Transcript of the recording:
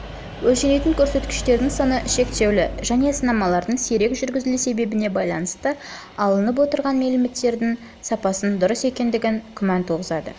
өлшенетін көрсеткіштердің саны шектеулі және сынамалардың сирек жүргізілу себебіне байланысты алынып отырған мәліметтердің сапасының дұрыс екендігі күмән туғызады